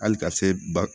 Hali ka se ba